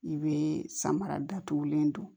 I bɛ samara datugulen don